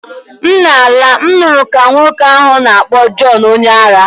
M na-ala, m nụrụ ka nwoke ahụ na-akpọ John onye ara